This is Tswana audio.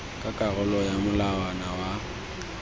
ka karolo ya molawana wa